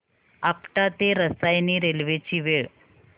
आपटा ते रसायनी रेल्वे ची वेळ